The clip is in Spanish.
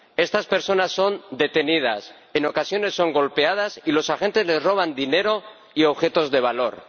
Estas personas son detenidas, en ocasiones son golpeadas y los agentes les roban dinero y objetos de valor.